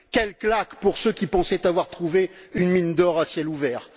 Quelle claque pour ceux qui pensaient avoir trouvé une mine d'or à ciel ouvert.